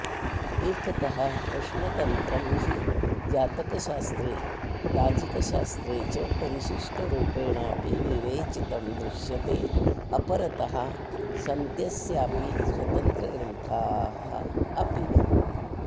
एकतः प्रश्नतन्त्रं हि जातकशास्त्रे ताजिकशास्त्रे च परिशिष्टरूपेणापि विवेचितं दृश्यतेऽपरतः सन्त्यस्यापि स्वतन्त्रग्रन्था अपि